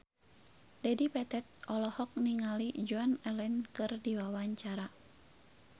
Dedi Petet olohok ningali Joan Allen keur diwawancara